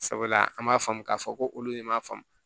Sabula an b'a faamu k'a fɔ ko olu de m'a faamu